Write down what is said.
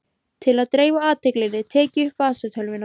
Til að dreifa athyglinni tek ég upp vasatölvuna.